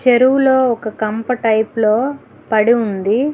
చెరువులో ఒక కంపు టైప్ లో పడి ఉంది.